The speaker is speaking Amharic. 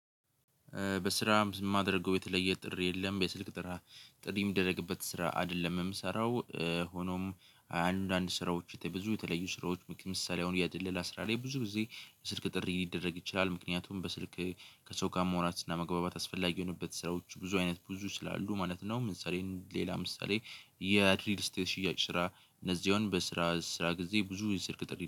በስራም ማደርገው የተለየ ጥሪ የለም። የስልክ ጥራ ጥሪ የሚደረግበት ስራ አይደለም የምሰራው። ሆኖም አንዳንድ ስራዎች ብዙ የተለዩ ስራዎች ምሳሌ አሁን የድለላ ስራ ላይ ብዙ ጊዜ የስልክ ጥሪ ሊደረግ ይችላል። ምክንያቱም በስልክ ከሰው ጋር ማውራት እና መግባባት አስፈላጊ የሆኑበት ስራዎች ብዙ አይነት ብዙ ስላሉ ማለት ነው። ምሳሌን ሌላ ምሳሌ የሪልድ ስቴት ሽያጭ ስራ እነዚህ በስራ ስራ ጊዜ ብዙ የስልክ ጥሪ